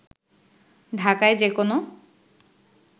ঢাকায় যেকোনো